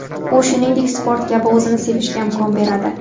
U shuningdek sport kabi o‘zini sevishga imkon beradi.